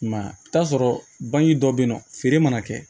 I m'a ye i bi t'a sɔrɔ bange dɔ be yen nɔ feere mana kɛ